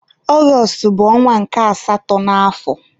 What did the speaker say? Ọgọstụ bụ ọnwa nke asatọ n'afọ.